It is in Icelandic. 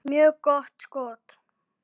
Mjög gott skot.